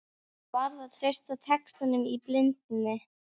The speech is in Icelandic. Hann varð að treysta textanum í blindni.